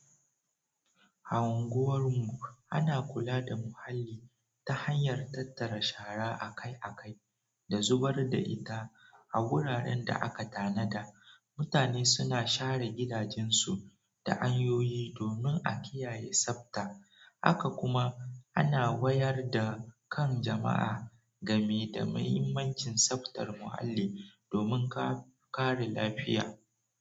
Anguwar mu ana kula da muhalli ta hanyar tattara shara akai akai da zubar da ita a wuraren da aka tanada. Mutane suna share gidajensu da hanyoyi domin a kiyaye tsabta. Haka kuma ana wayar da kan jama'a gami da muhimmanci tsabtar muhalli domin kare lafiya.